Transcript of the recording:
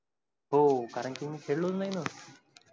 हो कारण कि मी खेळलो नाही ना.